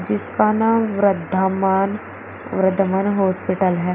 जिसका नाम व्रधामान वर्धमान हॉस्पिटल है।